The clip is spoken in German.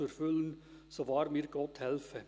Jetzt dürfen Sie zu Ihren Plätzen gehen.